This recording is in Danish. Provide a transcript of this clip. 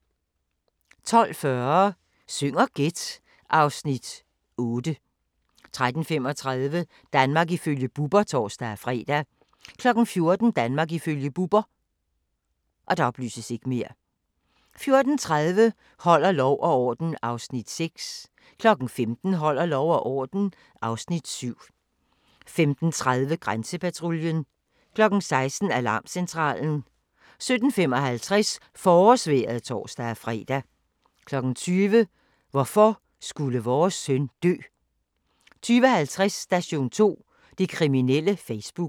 12:40: Syng og gæt (Afs. 8) 13:35: Danmark ifølge Bubber (tor-fre) 14:00: Danmark ifølge Bubber 14:30: Holder lov og orden (Afs. 6) 15:00: Holder lov og orden (Afs. 7) 15:30: Grænsepatruljen 16:00: Alarmcentralen 17:55: Forårsvejret (tor-fre) 20:00: Hvorfor skulle vores søn dø? 20:50: Station 2: Det kriminelle Facebook